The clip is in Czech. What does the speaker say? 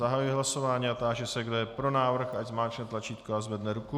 Zahajuji hlasování a táži se, kdo je pro návrh, ať zmáčkne tlačítko a zvedne ruku.